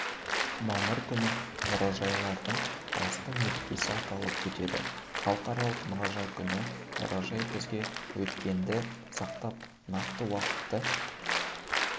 мамыр күні мұражайлардың басты мерекесі аталып өтеді халықаралық мұражай күні мұражай бізге өткенді сақтап нақты уақытты